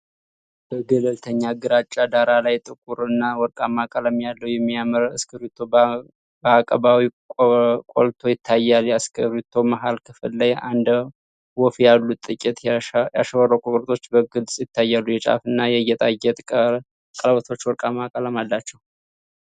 በገለልተኛ ግራጫ ዳራ ላይ ጥቁር እና ወርቃማ ቀለም ያለው የሚያምር እስክሪብቶ በአቀባዊ ጎልቶ ይታያል። የእስክሪብቶው መሃል ክፍል ላይ እንደ ወፍ ያሉ ጥቂት ያሸበረቁ ቅርፆች በግልጽ ይታያሉ። የጫፉና የጌጣጌጥ ቀለበቶቹ ወርቃማ ቀለም አላቸው።